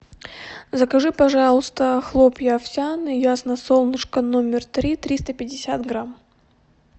закажи пожалуйста хлопья овсяные ясно солнышко номер три триста пятьдесят грамм